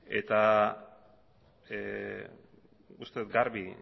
eta uste dut garbi